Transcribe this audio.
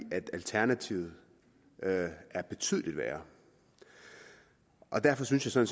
alternativet er betydelig værre derfor synes jeg